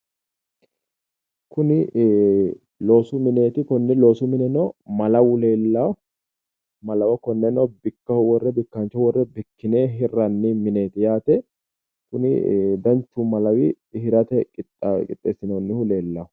Kuni ehhh loosu mineeti. Konni loosu mune malawu leellawo malawo konneno bikkine bikkaanchoho worre bikkine hirranni mineeti yaate. Kuni danchu malawi hirate qixxeessinoonnihu leellawo